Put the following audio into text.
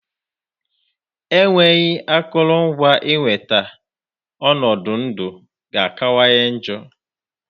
Enweghị akụrụngwa ịnweta, ọnọdụ ndụ ga-akawanye njọ